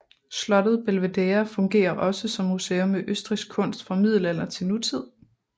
Slottet Belvedere fungerer også som museum med østrigsk kunst fra middelalder til nutid